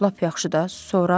Lap yaxşı da, sonra?